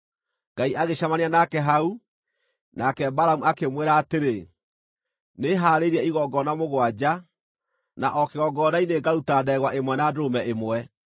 Ngai agĩcemania nake hau, nake Balamu akĩmwĩra atĩrĩ, “Nĩhaarĩirie igongona mũgwanja, na o kĩgongona-inĩ ngaruta ndegwa ĩmwe na ndũrũme ĩmwe.”